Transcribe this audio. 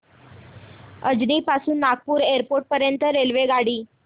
अजनी पासून नागपूर एअरपोर्ट पर्यंत रेल्वेगाडी